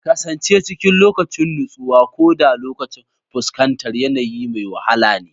Kasance cikin nutsuwa, koda lokacin fuskantar yanayi mai wahala ne.